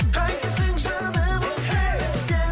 қайтесің жаным өзгені сен